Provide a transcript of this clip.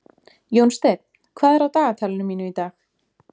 Jónsteinn, hvað er á dagatalinu mínu í dag?